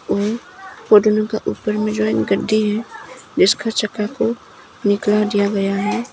वो ऊपर में जो एक गड्डी है जिसका चक्का को निकाल दिया गया।